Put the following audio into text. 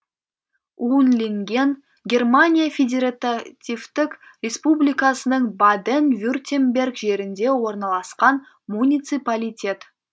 унлинген германия федеративтік республикасының баден вюртемберг жерінде орналасқан муниципалитет